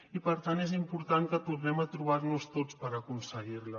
i per tant és important que tornem a trobar nos tots per aconseguir la